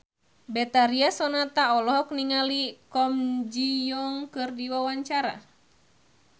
Betharia Sonata olohok ningali Kwon Ji Yong keur diwawancara